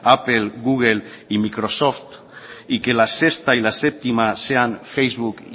apple google y microsoft y que la sexta y la séptima sean facebook